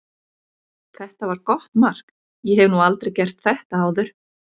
Þetta var gott mark, ég hef nú aldrei gert þetta áður.